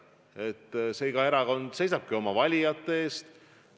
Eks iga erakond seisabki oma valijate eest.